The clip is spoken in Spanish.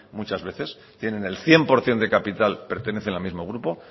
muchas veces tienen el cien por ciento de capital pertenecen al mismo grupo